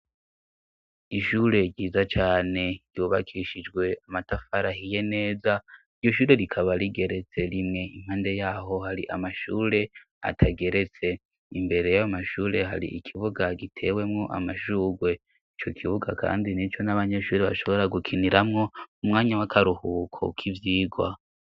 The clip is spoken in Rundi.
Ishure ryiza cane ryubakishijwe amatafari ahiye neza, iryo ishure rikaba rigeretse rimwe, impande yaho hari amashure atageretse, imbere y'abamashure hari ikibuga gitewemo amashurwe, ico kibuga kandi nico n'abanyeshuri bashobora gukiniramwo umwanya w'akaruhuko k'ivyigwa.